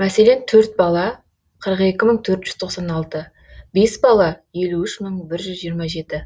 мәселен төрт бала қырық екі мың төрт жүз тоқсан алты бес бала елу үш мың бір жүз жиырма жеті